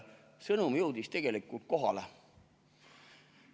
Sõnum jõudis tegelikult kohale.